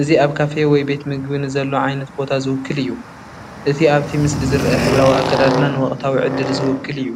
እዚ ኣብ ካፌ ወይ ቤት መግቢ ንዘሎ ዓይነት ቦታ ዝውክል እዩ። እቲ ኣብቲ ምስሊ ዝርአ ሕብራዊ ኣከዳድና ንወቕታዊ ዕድል ዝውክል እዩ።